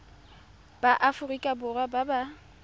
ba aforika borwa ba ba